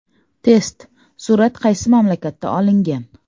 Test: Surat qaysi mamlakatda olingan?.